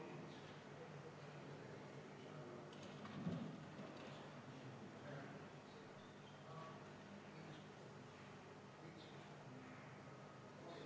Näiteks siis, kui ettevõte enam ei eksisteeri, on läinud pankrotti, on likvideeritud.